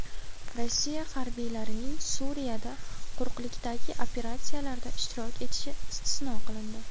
Rossiya harbiylarining Suriyada quruqlikdagi operatsiyalarda ishtirok etishi istisno qilindi.